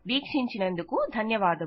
వీక్షించినందుకు ధన్యవాదములు